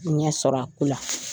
ɲɛ sɔrɔ a ko la.